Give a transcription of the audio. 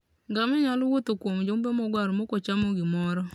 Ngamia nyalo wuotho kuom jumbe mogwaro maok ocham gimoro.